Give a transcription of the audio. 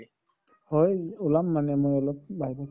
হয়, ওলাম মানে মই অলপ বাহিৰত